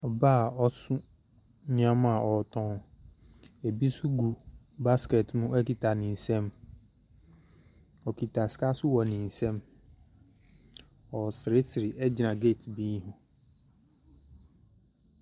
Ɔbaa a ɔso nneɛma a ɔretɔn. Ebi nso gu basket mu kita ne nsɛm. Ɔkita sika nso wɔ ne nsam. Ɔreseresere gyina gate bi ho.